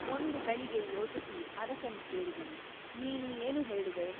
ಒಂದು ಗಳಿಗೆ ಯೋಚಿಸಿ ಅರಸನು ಕೇಳಿದನು ನೀನು ಏನು ಹೇಳುವೆ ?